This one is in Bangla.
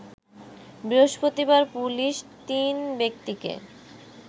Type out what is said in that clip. বৃহস্পতিবার পুলিশ তিন ব্যক্তিকে